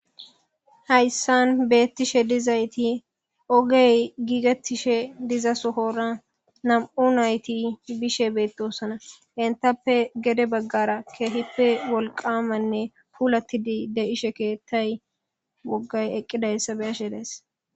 Haysan betishe dizayti ogey gigetishe diza sohora nam'u nayti bishe betosona etape gede bagara kehippe gita keethay pulatishe de'izaysa be'ashe de'aysi